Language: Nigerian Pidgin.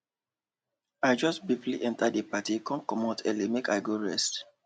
i jus briefly enter d party come comot early make i go rest